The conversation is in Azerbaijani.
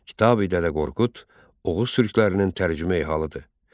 Kitabi Dədə Qorqud Oğuz türklərinin tərcümeyi halıdır.